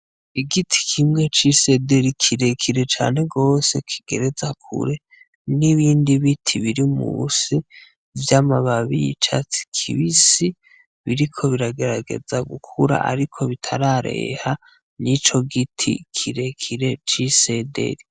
Igiti kimwe c' isederi kirekire cane gose kigereza kure nibindi biti biri munsi vy'amababi y' icasi kibisi biriko biragerageza gukura ariko bitarareha nico giti kirekire c'isederi.